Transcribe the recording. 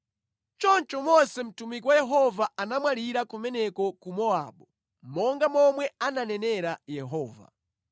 Choncho Mose mtumiki wa Yehova anamwalira kumeneko ku Mowabu, monga momwe ananenera Yehova.